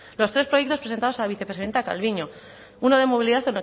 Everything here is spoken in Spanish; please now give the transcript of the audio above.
los tres proyectos presentados a vicepresidenta calviño uno de movilidad